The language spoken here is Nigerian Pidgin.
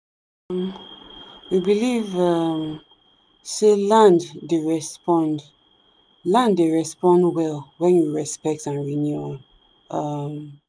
um we believe um say land dey respond land dey respond well when you respect and renew am. um